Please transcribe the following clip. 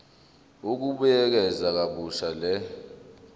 ukubuyekeza kabusha le